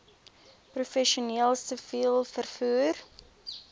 professioneel siviel vervoer